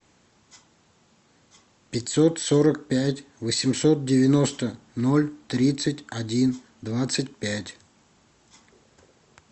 пятьсот сорок пять восемьсот девяносто ноль тридцать один двадцать пять